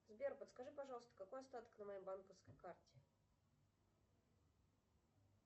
сбер подскажи пожалуйста какой остаток на моей банковской карте